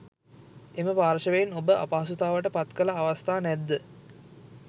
එම පාර්ශ්වයෙන් ඔබ අපහසුතාවට පත්කළ අවස්ථා නැද්ද?